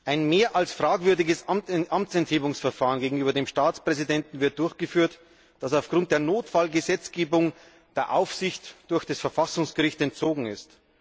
Ein mehr als fragwürdiges Amtsenthebungsverfahren gegenüber dem Staatspräsidenten wird durchgeführt, das aufgrund der Notfallgesetzgebung der Aufsicht durch das Verfassungsgericht entzogen ist.